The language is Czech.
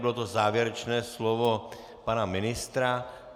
Bylo to závěrečné slovo pana ministra.